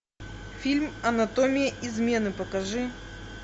фильм анатомия измены покажи